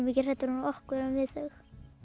mikið hræddari við okkur en við þau